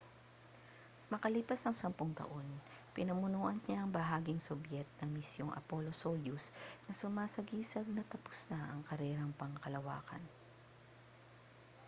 makalipas ang sampung taon pinamunuan niya ang bahaging sobyet ng misyong apollo-soyuz na sumasagisag na tapos na ang karerang pangkalawakan